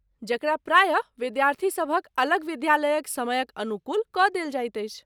जकरा प्रायः विद्यार्थीसभक अलग विद्यालयक समयक अनुकूल कऽ देल जाइत अछि